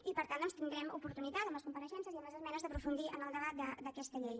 i per tant doncs tindrem oportunitat en les compareixences i en les esmenes d’aprofundir en el debat d’aquesta llei